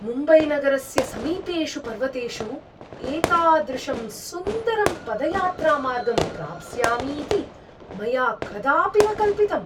मुम्बैनगरस्य समीपेषु पर्वतेषु एतादृशं सुन्दरं पदयात्रामार्गं प्राप्स्यामि इति मया कदापि न कल्पितम्।